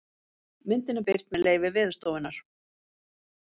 Myndin er birt með leyfi Veðurstofunnar.